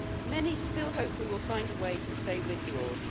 Many still hope that we will find a way to stay with you all.